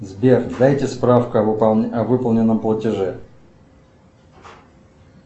сбер дайте справку о выполненном платеже